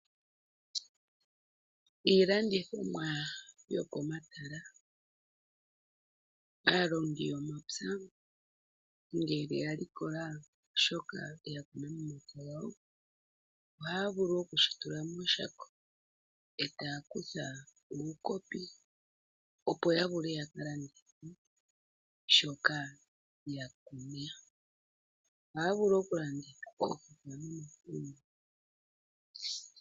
Iilandithomwa yokomatala. Aalongi yomapya ngele ya likola shoka ya kuna momapya gawo ohaya vulu okushi tula mooshako, e taya kutha uukopi opo ya vule ya ka landitha shoka ya teya. Ohaa vulu okulanditha oofukwa nomakunde.